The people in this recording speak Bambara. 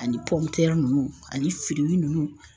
Ani nunnu ani fili nunnu